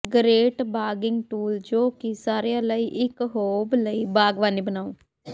great ਬਾਗ਼ਿੰਗ tool ਜੋ ਕਿ ਸਾਰਿਆਂ ਲਈ ਇਕ ਹੋਬ ਲਈ ਬਾਗਵਾਨੀ ਬਣਾਉ